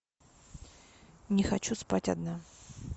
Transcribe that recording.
не хочу спать одна